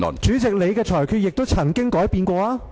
主席，你的裁決亦曾改變。